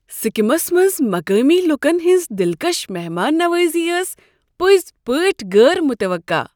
Succumbs منٛز مقٲمی لوٗکن ہنٛز دلکش مہمان نوازی ٲس پٔزۍ پٲٹھۍ غٲر متوقع۔